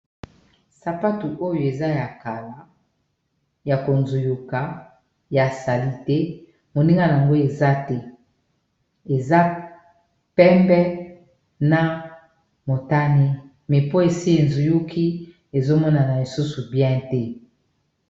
sapatu oyo eza ya kala ya konzuyuka ya sali te moninga yango eza te eza pempe na motani me po esi ezuyuki ezomonana lisusu bien te